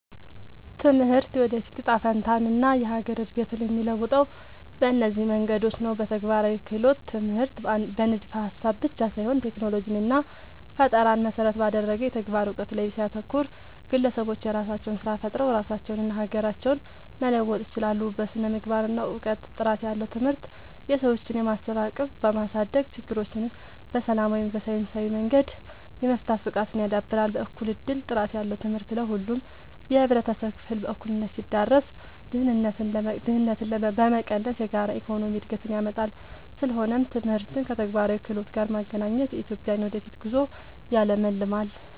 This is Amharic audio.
ትምህርት የወደፊት እጣ ፈንታንና የሀገርን እድገት የሚለውጠው በእነዚህ መንገዶች ነው፦ በተግባራዊ ክህሎት፦ ትምህርት በንድፈ-ሀሳብ ብቻ ሳይሆን ቴክኖሎጂንና ፈጠራን መሰረት ባደረገ የተግባር እውቀት ላይ ሲያተኩር፣ ግለሰቦች የራሳቸውን ስራ ፈጥረው ራሳቸውንና ሀገራቸውን መለወጥ ይችላሉ። በስነ-ምግባርና እውቀት፦ ጥራት ያለው ትምህርት የሰዎችን የማሰብ አቅም በማሳደግ፣ ችግሮችን በሰላማዊና በሳይንሳዊ መንገድ የመፍታት ብቃትን ያዳብራል። በእኩል እድል፦ ጥራት ያለው ትምህርት ለሁሉም የህብረተሰብ ክፍል በእኩልነት ሲዳረስ፣ ድህነትን በመቀነስ የጋራ የኢኮኖሚ እድገትን ያመጣል። ስለሆነም ትምህርትን ከተግባራዊ ክህሎት ጋር ማገናኘት የኢትዮጵያን የወደፊት ጉዞ ያለምልማል።